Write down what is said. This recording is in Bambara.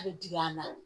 A bɛ digi a la